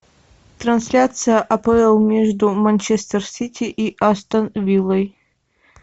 трансляция апл между манчестер сити и астон виллой